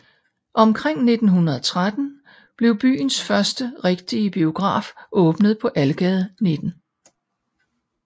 Omkring 1913 blev byens første rigtige biograf åbnet på Algade 19